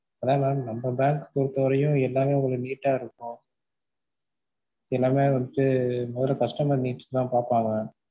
அதான் mam நம்ம bank பொறுத்த வரைக்கும் எல்லாமே உங்களுக்கு neat டா இருக்கும் எல்லாமே வந்துட்டு மொதல customer needs தான் பாப்பாங்க.